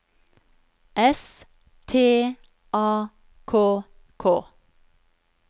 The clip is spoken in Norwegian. S T A K K